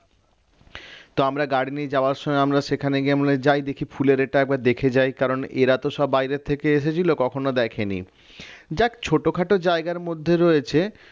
তো আমরা গাড়ি নিয়ে যাওয়ার সময় আমরা সেখানে গিয়ে বলি যায় দেখি ফুলেরটা একবার দেখে যায় কারণ এরা তো সব বাইরের থেকে এসেছিল কখনো দেখেনি যাক ছোটখাটো জায়গার মধ্যে রয়েছে